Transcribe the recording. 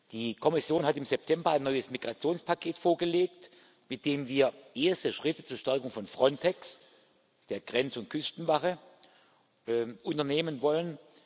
Die Kommission hat im September ein neues Migrationspaket vorgelegt, mit dem wir erste Schritte zur Stärkung von Frontex, der Grenz und Küstenwache, unternehmen wollen.